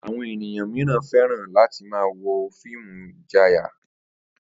Àwo̩n ènìyàn mìíràn fé̩ràn láti máa wo fíìmù ìjayà